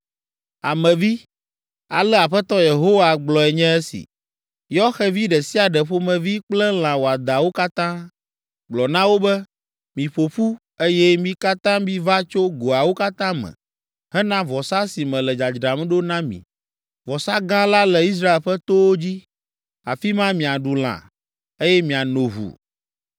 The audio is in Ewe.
“Ame vi, ale Aƒetɔ Yehowa gblɔe nye esi: Yɔ xevi ɖe sia ɖe ƒomevi kple lã wɔadãwo katã. Gblɔ na wo be, ‘Miƒo ƒu, eye mi katã miva tso goawo katã me hena vɔsa si mele dzadzram ɖo na mi, vɔsa gã la le Israel ƒe towo dzi. Afi ma miaɖu lã, eye miano ʋu.